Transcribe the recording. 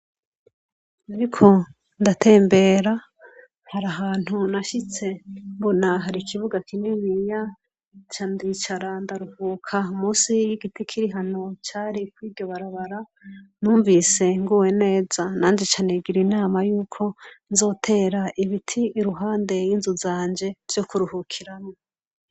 Nariko ndatembera, hari ahantu nashitse mbona hari ikibuga kininiya, nca ndicara ndaruhuka musi y'igiti kiri hano cari kw'iryo barabara, numvise nguwe neza nanje nca nigira inama yuko nzotera ibiti iruhande y'inzu zanje, vyo kuruhukiramwo.